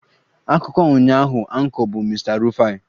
Akụkọ ụnyaahụ Anchor bụ Mr Rufai